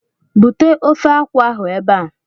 Bute ofe akwụ ahụ ebe a!